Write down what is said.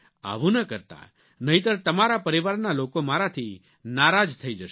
આવું ન કરતા નહીંતર તમારા પરિવારના લોકો મારાથી નારાજ થઇ જશે